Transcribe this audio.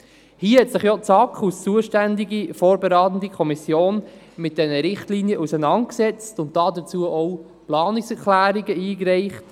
Die SAK als zuständige vorberatende Kommission hat sich mit diesen Richtlinien auseinandergesetzt und dazu auch Planungserklärungen eingereicht.